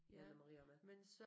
Jan og Maria med